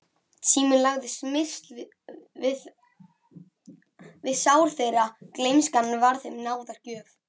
Tíminn lagði smyrsl við sár þeirra, gleymskan varð þeim náðargjöf.